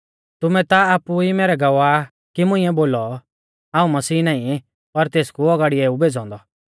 तुमै ता आपु ई मैरै गवाह कि मुंइऐ बोलौ हाऊं मसीह नाईं पर तेसकु औगाड़िऐ ऊ भेज़ौ औन्दौ